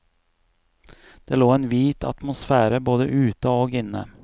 Det lå en hvit atmosfære både ute og inne.